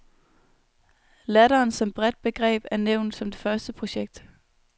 Latteren som bredt begreb er nævnt som det første projekt.